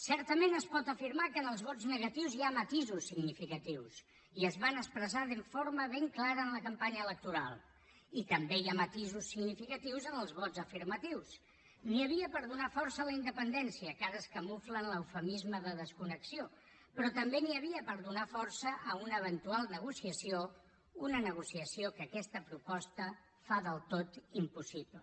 certament es pot afirmar que en els vots negatius hi ha matisos significatius i es van expressar de forma ben clara en la campanya electoral i també hi ha matisos significatius en els vots afirmatius n’hi havia per donar força a la independència que ara es camufla en l’eufemisme de desconnexió però també n’hi havia per donar força a una eventual negociació una negociació que aquesta proposta fa del tot impossible